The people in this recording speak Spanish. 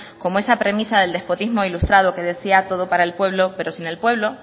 como esa premisa del despotismo ilustrado que decía todo para el pueblo pero sin el pueblo